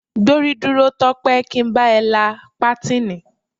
Gbórí dúró Tó̩pé̩! kí n be̩ la pátíìnì.